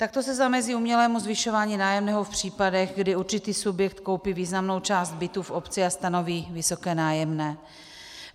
Takto se zamezí umělému zvyšování nájemného v případech, kdy určitý subjekt koupí významnou část bytů v obci a stanoví vysoké nájemné.